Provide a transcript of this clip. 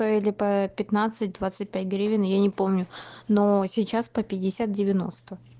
стояли по пятнадцать двадцать пять гривен я не помню но сейчас по пятьдесят девяносто